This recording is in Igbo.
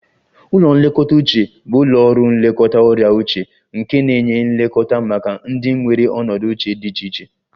Ụlọ nlekọta uche bụ ụlọ ọrụ nlekọta ọrịa uche nke na-enye nlekọta maka ndị nwere ọnọdụ uche dị iche iche